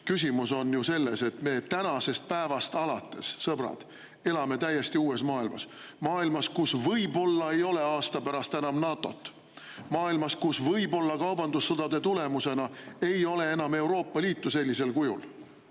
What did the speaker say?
Küsimus on ju selles, et me tänasest päevast alates, sõbrad, elame täiesti uues maailmas, maailmas, kus võib-olla ei ole aasta pärast enam NATO‑t, maailmas, kus võib-olla kaubandussõdade tulemusena ei ole enam Euroopa Liitu sellisel kujul.